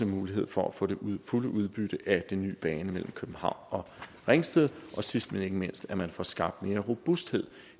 muligheden for at få den fulde udbytte af den nye bane mellem københavn og ringsted og sidst men ikke mindst at man får skabt mere robusthed